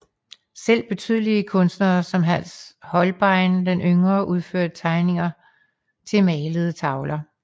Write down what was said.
Selv betydelige kunstnere som Hans Holbein den yngre udførte tegninger til malede tavler